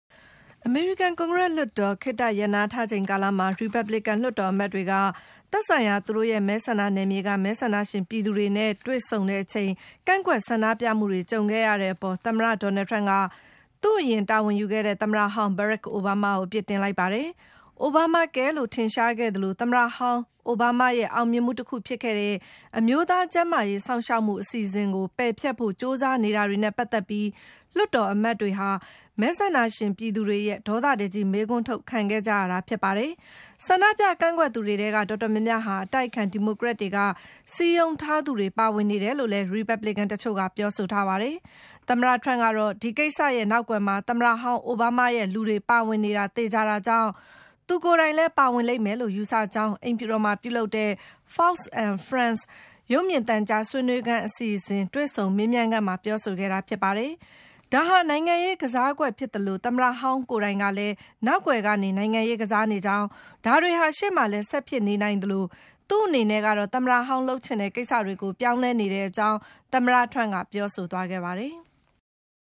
အမေရိကန်ကွန်ဂရက်လွှတ်တော် ခေတ္တရပ်နားထားချိန်ကာလမှာ - ရီပတ်ဘလစ်ကန် လွှတ်တော်အမတ်တွေက သက်ဆိုင်ရာ သူတို့ရဲ့ မဲဆန္ဒနယ်မြေက မဲဆန္ဒရှင်ပြည်သူတွေနဲ့ တွေ့ဆုံချိန် - ကန့်ကွက်ဆန္ဒပြမှုတွေ ကြုံခဲ့ရတဲ့အပေါ် - သမ္မတ Donald Trump က သူ့အရင် တာဝန်ယူခဲ့တဲ့ သမ္မတဟောင်း Barack Obama ကို အပြစ်တင်လိုက်ပါတယ်။ Obamacare လို့ ထင်ရှားခဲ့သလို - သမ္မတဟောင်း ဘရက်ခ် အိုဘားမားရဲ့ အောင်မြင်မှုတခုဖြစ်ခဲ့တဲ့ အမျိုးသား ကျန်းမာရေးစောင့်ရှောက်မှု အစီအစဉ်ကို ပယ်ဖျက်ဖို့ ကြိုးစားနေတာတွေနဲ့ ပတ်သက်ပြီး လွှတ်တော်အမတ်တွေဟာ မဲဆန္ဒပြည်သူတွေရဲ့ ဒေါသတကြီး မေးခွန်းထုတ် ခံခဲ့ကြရတာ ဖြစ်ပါတယ်။ ဆန္ဒပြ ကန့်ကွက်သူတွေထဲက တော်တော်များများဟာ အတိုက်အခံ ဒီမိုကရက်တွေက စည်းရုံးထားသူတွေ ပါဝင်နေတယ်လို့လည်း ရီပတ်ဘလစ်ကန် တချို့က ပြောဆိုထားပါတယ်။ သမ္မတ Trump ကတော့ - ဒီကိစ္စရဲ့ နောက်ကွယ်မှာ သမ္မတဟောင်း အိုဘားမားရဲ့လူတွေ ပါဝင်နေတာ သေချာတာကြောင့် - သူ ကိုယ်တိုင်လည်း ပါဝင်လိမ့်မယ်လို့ ယူဆကြောင်း - အိမ်ဖြူတော်မှာ ပြုလုပ်တဲ့ Fox and Friends ရုပ်မြင်သံကြား ဆွေးနွေးခန်းအစီအစဉ် - တွေ့ဆုံမေးမြန်းခန်းမှာ ပြောဆိုခဲ့တာဖြစ်ပါတယ်။ ဒါဟာ နိုင်ငံရေးကစားကွက်ဖြစ်သလို - သမ္မတဟောင်းကိုယ်တိုင်ကလည်း နောက်ကွယ်ကနေ နိုင်ငံရေးကစားနေကြောင်း၊ ဒါတွေဟာ ရှေ့မှာလည်း ဆက်ဖြစ်နေနိုင်သလို - သူ့အနေနဲ့ကတော့ သမ္မတဟောင်း လုပ်ချင်တဲ့ကိစ္စတွေကို ပြောင်းလဲနေတဲ့အကြောင်း - သမ္မတ Trump က ပြောဆိုသွားခဲ့ပါ တယ်။